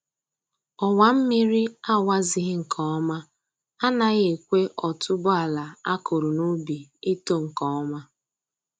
Ọwa mmiri a wazighị nke ọma anaghị ekwe otuboala a kụrụ n'ubi ito nke ọma